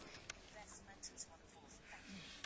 Tisztelt Andor és Hahn biztos urak!